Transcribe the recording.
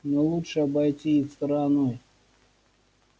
но лучше обойти их стороной